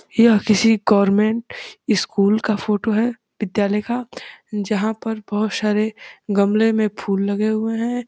यह किसी government school का फोटो है विद्यालय का जहाँ पर बोहोत सारे गमले में फूल लगे हुए हैं।